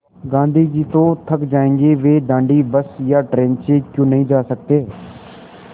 गाँधी जी तो थक जायेंगे वे दाँडी बस या ट्रेन से क्यों नहीं जा सकते